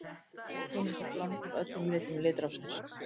Hvítt er sem kunnugt er blanda af öllum litum litrófsins.